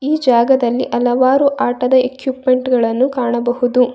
ಈ ಜಾಗದಲ್ಲಿ ಹಲವಾರು ರೀತಿಯ ಆಟದ ಎಕ್ವಿಪ್ಮೆಂಟ್ ಗಳನ್ನು ಕಾಣಬಹುದು.